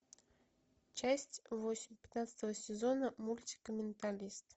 часть восемь пятнадцатого сезона мультика менталист